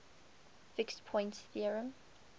fixed point theorem